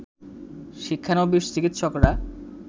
শিক্ষানবিশ চিকিৎসকরা